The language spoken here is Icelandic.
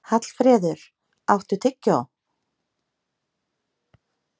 Þær er einnig hægt að nota á sauðfé og hreindýr.